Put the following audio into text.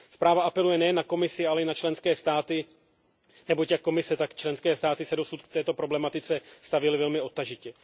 Zpráva apeluje nejen na Komisi, ale i na členské státy, neboť jak Komise, tak členské státy se dosud k této problematice stavěly velmi odtažitě.